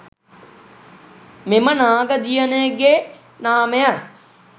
මෙම නාග දියණිය ගේ නාමය